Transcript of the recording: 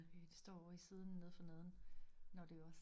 Øh det står ovre i siden nede for neden når det os